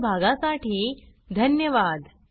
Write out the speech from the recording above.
सहभागासाठी धन्यवाद